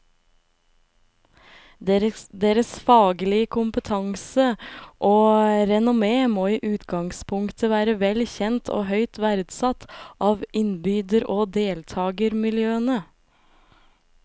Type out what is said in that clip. Deres faglige kompetanse og renommé må i utgangspunktet være vel kjent og høyt verdsatt av innbyder og deltagermiljøene.